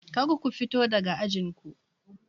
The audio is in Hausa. Kar ku fito daga ajin ku!